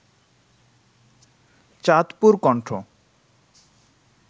Chandpur Kantho